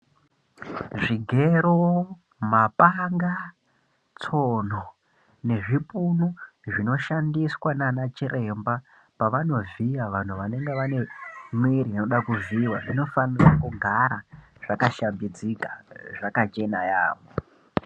Zvigero mapanga tsono nezvipunu zvinoshandiswa nana chiremba pavanovhiya vanhu vanenge vane mwiri inoda kuvhiyiwa zvinofanira kugara zvakashambidzika zvaka chena yambo.